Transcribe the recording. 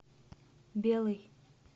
белый